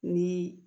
Ni